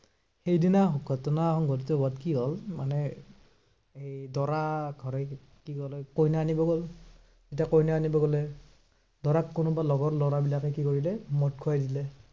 সেইদিনা ঘটনা সংঘটিত হোৱাত কি হল মানে এৰ দৰা ঘৰে কি বোলে, কইনা আনিব গল। এতিয়া কইনা আনিব গলে, দৰাক কোনোবা লগৰ লৰাবিলাকে কি কৰিলে, মদ খোৱাই দিলে।